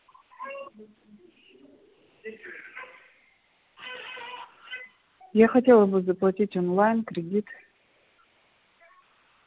я хотела бы заплатить онлайн кредит